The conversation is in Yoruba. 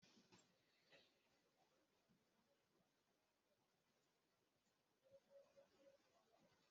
Wọn ra ọpọlọpọ iyẹ̀pẹ̀ nigbati wọn ń kọ́ ilé